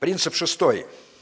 принцип шестой